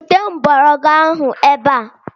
Bute mgbọrọgwụ ahụ ebe a!